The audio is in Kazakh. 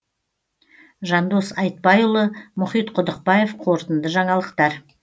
жандос айтбайұлы мұхит құдықбаев қорытынды жаңалықтар